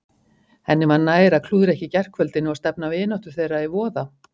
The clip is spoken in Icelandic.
Henni var nær að klúðra ekki gærkvöldinu og stefna vináttu þeirra í voða.